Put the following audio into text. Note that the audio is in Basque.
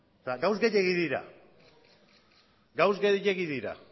gauza gehiegi dira gauza gehiegi dira